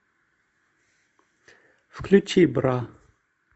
включи бра